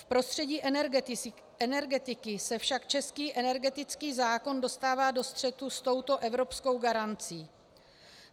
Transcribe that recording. V prostředí energetiky se však český energetický zákon dostává do střetu s touto evropskou garancí.